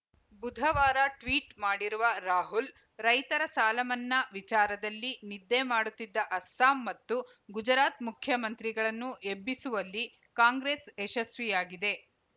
ಬುಧವಾರ ಟ್ವೀಟ್‌ ಮಾಡಿರುವ ರಾಹುಲ್‌ ರೈತರ ಸಾಲಮನ್ನಾ ವಿಚಾರದಲ್ಲಿ ನಿದ್ದೆ ಮಾಡುತ್ತಿದ್ದ ಅಸ್ಸಾಂ ಮತ್ತು ಗುಜರಾತ್‌ ಮುಖ್ಯಮಂತ್ರಿಗಳನ್ನು ಎಬ್ಬಿಸುವಲ್ಲಿ ಕಾಂಗ್ರೆಸ್‌ ಯಶಸ್ವಿಯಾಗಿದೆ